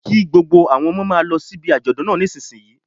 Kí gbogbo àwọn ọmọ ọmọ máa lọ síbi àjọ̀dún náà nísinsìnyí